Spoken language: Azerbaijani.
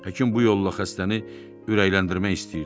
Həkim bu yolla xəstəni ürəkləndirmək istəyirdi.